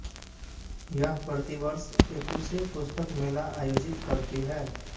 यह प्रतिवर्ष एकुशे पुस्तक मेला आयोजित करती है